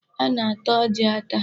A na-ata ọjị ata.